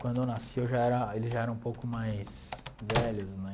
Quando eu nasci, eu já era eles já eram um pouco mais velhos, né?